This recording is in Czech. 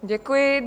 Děkuji.